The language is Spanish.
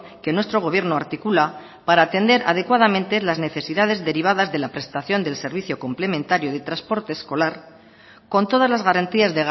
que nuestro gobierno articula para atender adecuadamente las necesidades derivadas de la prestación del servicio complementario de transporte escolar con todas las garantías